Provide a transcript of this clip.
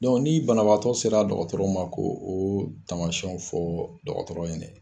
ni banabagatɔ sera dɔgɔtɔrɔ ma ko o tamasiyɛnw fɔ dɔgɔtɔrɔ ɲɛnɛ.